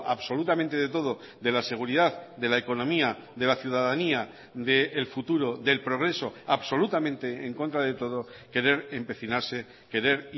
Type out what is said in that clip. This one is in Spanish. absolutamente de todo de la seguridad de la economía de la ciudadanía del futuro del progreso absolutamente en contra de todo querer empecinarse querer